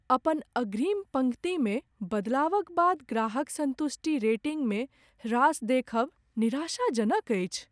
अपन अग्रिम पंक्तिमे बदलावक बाद ग्राहक संतुष्टि रेटिंगमे ह्रास देखब निराशाजनक अछि।